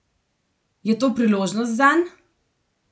Je to priložnost zanj?